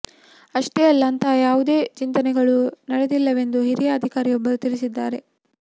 ಅಷ್ಟೇ ಅಲ್ಲ ಅಂತಹ ಯಾವುದೇ ಚಿಂತನೆಗಳೂ ನಡೆದಿಲ್ಲವೆಂದು ಹಿರಿಯ ಅಧಿಕಾರಿಯೊಬ್ಬರು ತಿಳಿಸಿದ್ದಾರೆ